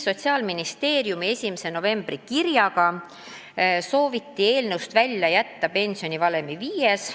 Sotsiaalministeeriumi 1. novembri kirjas avaldati soovi eelnõust välja jätta pensionivalemi viies